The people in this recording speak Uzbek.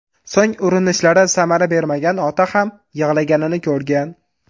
So‘ng urinishlari samara bermagan ota ham yig‘laganini ko‘rgan.